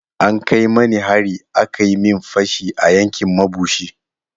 An kai mani hari aka yi min fashi a yankin mabushi.